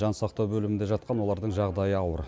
жансақтау бөлімінде жатқан олардың жағдайы ауыр